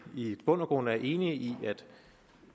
i bund og grund er enige i at